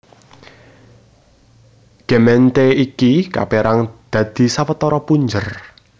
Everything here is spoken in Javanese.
Gemeente iki kapérang dadi sawetara punjer